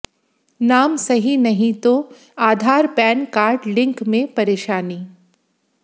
नाम सही नहीं तो आधार पैन कार्ड लिंक में परेशानी